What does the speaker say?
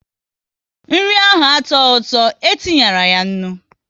Nri ahụ atuoghi ụtọ, e tinyeyi ya nri